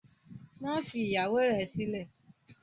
Má fi ìyàwó rẹ̀ sílẹ̀!